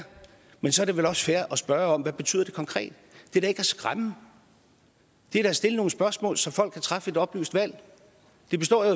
men så er det vel også fair at spørge om hvad det betyder konkret det er da ikke at skræmme det er da at stille nogle spørgsmål så folk kan træffe et oplyst valg det består jo